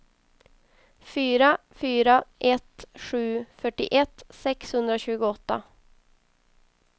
fyra fyra ett sju fyrtioett sexhundratjugoåtta